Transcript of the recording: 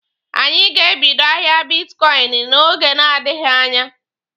Anyị ga-ebido ahịa bitkọịnị n'oge na-adịghi anya.